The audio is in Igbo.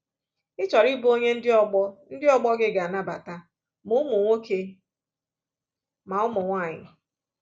Ị̀ chọrọ ịbụ onye ndị ọgbọ ndị ọgbọ gị ga-anabata, ma ụmụ nwoke ma ụmụ nwanyị.”